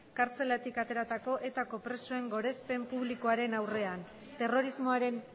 kartzelatik ateratako etako presoen gorespen publikoaren aurrean terrorismoaren